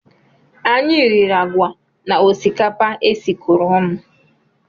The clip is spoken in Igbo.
Anyị riri agwa na osikapa e sikọrọ ọnụ